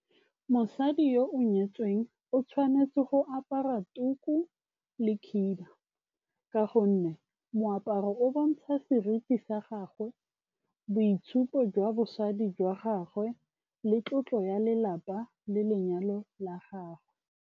Mosadi yo o nyetsweng o tshwanetse go apara tuku le khiba ka gonne moaparo o bontsha seriti sa gagwe, boitshupo jwa bosadi jwa gagwe le tlotlo ya lelapa le lenyalo la gagwe.